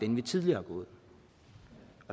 den vi tidligere